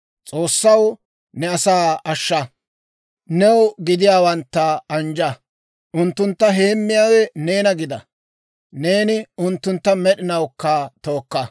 S'oossaw, ne asaa ashsha; new gidiyaawantta anjja. Unttuntta heemmiyaawe neena gida; neeni unttuntta med'inawukka tookka.